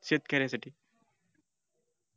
शेतक-यासाठी